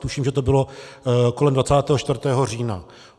Tuším, že to bylo kolem 24. října.